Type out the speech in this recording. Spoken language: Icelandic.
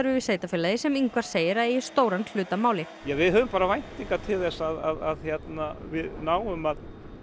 við sveitarfélagið sem Ingvar segir að eigi stóran hlut að máli við höfum bara væntingar til þess að við náum að